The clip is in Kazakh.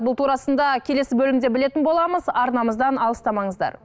бұл турасында келесі бөлімде білетін боламыз арнамыздан алыстамаңыздар